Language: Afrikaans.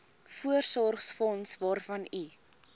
voorsorgsfonds waarvan u